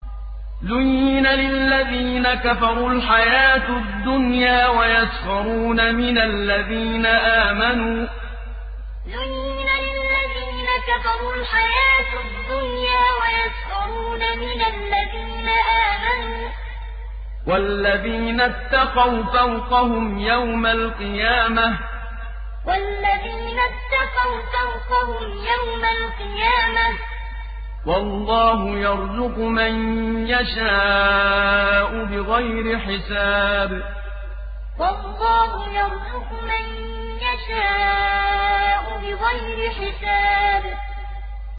زُيِّنَ لِلَّذِينَ كَفَرُوا الْحَيَاةُ الدُّنْيَا وَيَسْخَرُونَ مِنَ الَّذِينَ آمَنُوا ۘ وَالَّذِينَ اتَّقَوْا فَوْقَهُمْ يَوْمَ الْقِيَامَةِ ۗ وَاللَّهُ يَرْزُقُ مَن يَشَاءُ بِغَيْرِ حِسَابٍ زُيِّنَ لِلَّذِينَ كَفَرُوا الْحَيَاةُ الدُّنْيَا وَيَسْخَرُونَ مِنَ الَّذِينَ آمَنُوا ۘ وَالَّذِينَ اتَّقَوْا فَوْقَهُمْ يَوْمَ الْقِيَامَةِ ۗ وَاللَّهُ يَرْزُقُ مَن يَشَاءُ بِغَيْرِ حِسَابٍ